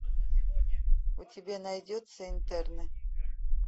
у тебя найдется интерны